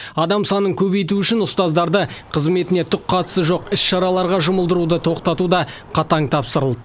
адам санын көбейту үшін ұстаздарды қызметіне түк қатысы жоқ іс шараларға жұмылдыруды тоқтату да қатаң тапсырылды